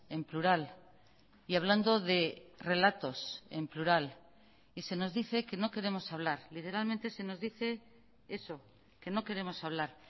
en plural y hablando de relatos en plural y se nos dice que no queremos hablar literalmente se nos dice eso que no queremos hablar